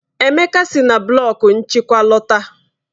Emeka si na blọku nchịkwa lọta.